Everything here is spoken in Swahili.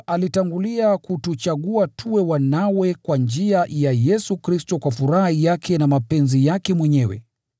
alitangulia kutuchagua tuwe wanawe kwa njia ya Yesu Kristo kwa furaha yake na mapenzi yake mwenyewe.